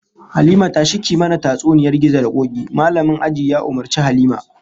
"Halima, tashi ki yi mana tatsuniyar gizo da koki", Mallamin ajin ya umurci Halima.